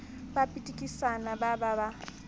ba pitikisana ba ba ba